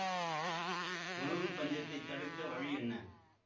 உணவு பஞ்சத்தைத் தடுக்க வழி என்ன